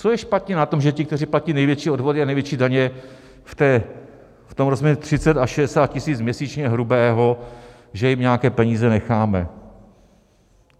Co je špatně na tom, že ti, kteří platí největší odvody a největší daně v tom rozměru 30 a 60 tisíc měsíčně hrubého, že jim nějaké peníze necháme?